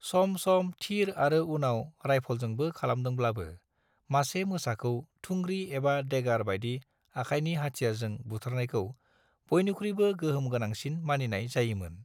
सम सम थिर आरो उनाव राइफलजोंबो खालामदोंब्लाबो, मासे मोसाखौ थुंग्रि एबा देगार बायदि आखायनि हाथियारजों बुथारनायखौ बयनिख्रुइबो गोहोम गोनांसिन मानिनाय जायोमोन।